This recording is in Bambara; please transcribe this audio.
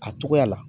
A togoya la